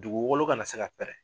Duguwolo ka na se ka pɛrɛn.